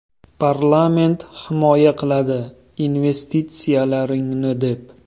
Parlament himoya qiladi investitsiyalaringni, deb.